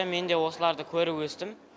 мен де осыларды көріп өстім